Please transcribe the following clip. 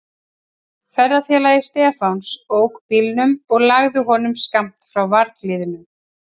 Ferðafélagi Stefáns ók bílnum og lagði honum skammt frá varðhliðinu.